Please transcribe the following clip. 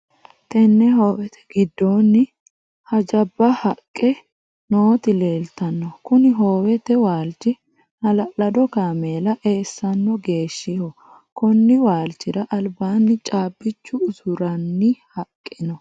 Tenne hoowete gidoonni hajaba haqe nooti leeltano. Kunni hoowete waalchi hala'lado kaameela eessano geeshiho. Konni waalchira albaanni caabicho usuranni haqe no.